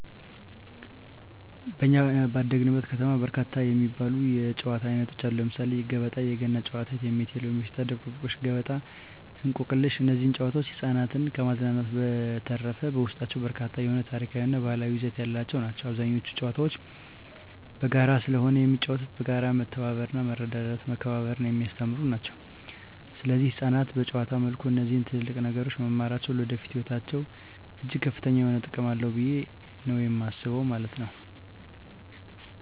በኛ ባደግንበት ከተማ በርካታ የሚባሉ የጨዋታ አይነቶች አሉ ለምሳሌ ገበጣ: የገና ጨዋታ እቴሜቴ የሎሚ ሽታ ድብብቆሽ ገበጣ እንቆቅልሽ እነዚህ ጨዋታዎች ህፃናትን ከማዝናናት በዠተረፈ በውስጣቸው በርካታ የሆነ ታሪካዊ እና ባህላዊ ይዘት ያላቸው ናቸው አብዛኞቹ ጨዋታዎች በጋራ ስለሆነ የሚጫወተው በጋራ መተባበርና መረዳዳትና መከባበርን የሚያስተምሩ ናቸው ሰለዚህ ህፃናት በጨዋታ መልኩ እነዚህ ትልልቅ ነገሮች መማራቸው ለወደፊቱ ህይወታቸው እጅግ ከፍተኛ የሆነ ጥቅም አለው ብየ ነው የማስበው ማለት ነው።